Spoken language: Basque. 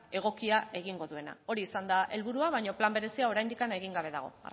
egokia egingo duena hori izan da helburua baino plan berezia oraindik egin gabe dago